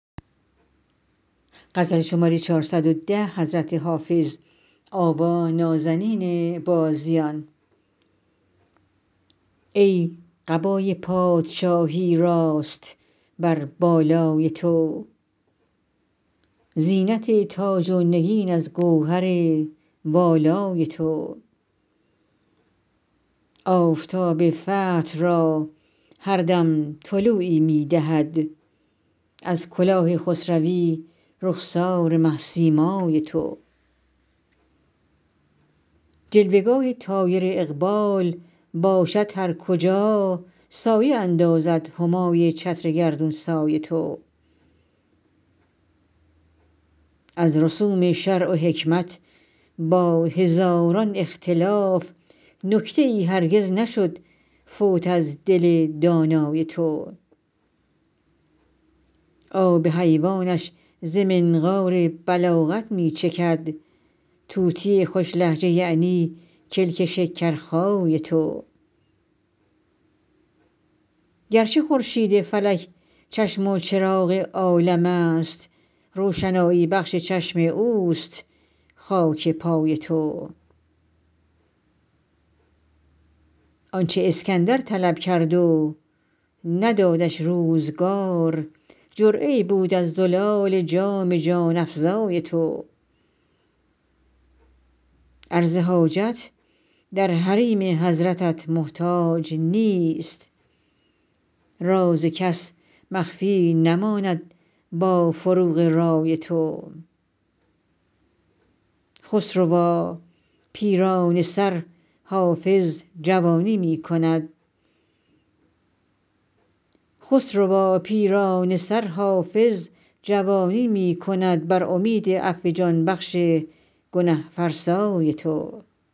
ای قبای پادشاهی راست بر بالای تو زینت تاج و نگین از گوهر والای تو آفتاب فتح را هر دم طلوعی می دهد از کلاه خسروی رخسار مه سیمای تو جلوه گاه طایر اقبال باشد هر کجا سایه اندازد همای چتر گردون سای تو از رسوم شرع و حکمت با هزاران اختلاف نکته ای هرگز نشد فوت از دل دانای تو آب حیوانش ز منقار بلاغت می چکد طوطی خوش لهجه یعنی کلک شکرخای تو گرچه خورشید فلک چشم و چراغ عالم است روشنایی بخش چشم اوست خاک پای تو آن چه اسکندر طلب کرد و ندادش روزگار جرعه ای بود از زلال جام جان افزای تو عرض حاجت در حریم حضرتت محتاج نیست راز کس مخفی نماند با فروغ رای تو خسروا پیرانه سر حافظ جوانی می کند بر امید عفو جان بخش گنه فرسای تو